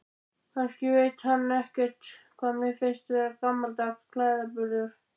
Kannski veit hann ekkert hvað mér finnst vera gamaldags klæðaburður.